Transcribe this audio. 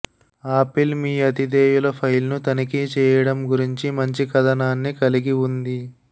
apple మీ అతిధేయల ఫైల్ను తనిఖీ చేయడం గురించి మంచి కథనాన్ని కలిగి ఉంది